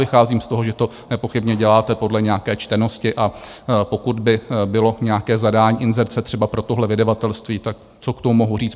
Vycházím z toho, že to nepochybně děláte podle nějaké čtenosti, a pokud by bylo nějaké zadání inzerce třeba pro tohle vydavatelství, tak co k tomu mohu říct?